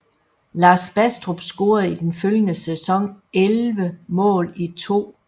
Lars Bastrup scorede den følgende sæson 11 mål i 2